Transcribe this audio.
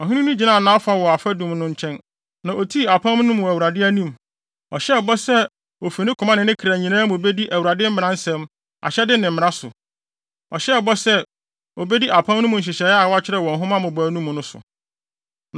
Ɔhene no gyinaa nʼafa wɔ afadum no nkyɛn, na otii apam no mu wɔ Awurade anim. Ɔhyɛɛ bɔ sɛ ofi ne koma ne ne kra nyinaa mu bedi Awurade mmaransɛm, ahyɛde ne mmara so. Ɔhyɛɛ bɔ sɛ, obedi apam no mu nhyehyɛe a wɔakyerɛw wɔ nhoma mmobɔwee no mu no so.